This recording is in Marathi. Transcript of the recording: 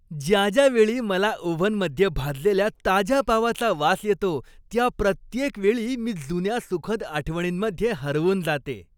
ज्या ज्या वेळी मला ओव्हनमध्ये भाजलेल्या ताज्या पावाचा वास येतो त्या प्रत्येक वेळी मी जुन्या सुखद आठवणींमध्ये हरवून जाते.